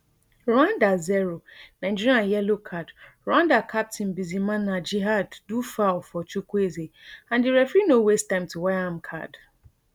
rwanda zero nigeria yellow card rwanda captain bizimana djihad do foul for chukwueze and di referee no waste time to waya am card